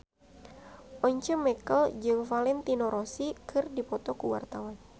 Once Mekel jeung Valentino Rossi keur dipoto ku wartawan